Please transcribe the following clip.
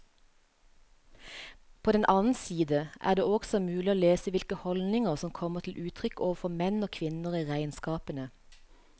På den annen side er det også mulig å lese hvilke holdninger som kom til uttrykk overfor menn og kvinner i regnskapene.